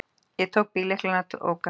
Ég tók bíllyklana og ók af stað.